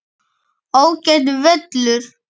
Ágætur völlur.